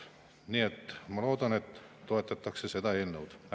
Nii et ma loodan, et seda eelnõu toetatakse.